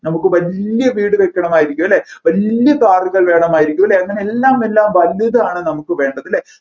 നമ്മുക്ക് വല്യ വീടുവെക്കണമായിരിക്കും അല്ലെ വല്യ കാറുകാർ വേണമായിരിക്കും അല്ലെ അങ്ങനെ എല്ലാം എല്ലാം വലുതാണ് നമ്മുക്ക് വേണ്ടത് അല്ലെ